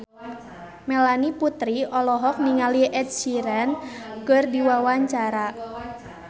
Melanie Putri olohok ningali Ed Sheeran keur diwawancara